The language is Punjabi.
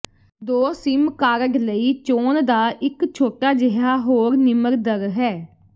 ਦੋ ਸਿਮ ਕਾਰਡ ਲਈ ਚੋਣ ਦਾ ਇੱਕ ਛੋਟਾ ਜਿਹਾ ਹੋਰ ਨਿਮਰ ਦਰ ਹੈ